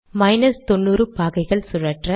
minus தொன்னூறு பாகைகள் சுழற்ற